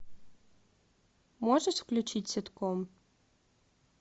можешь включить ситком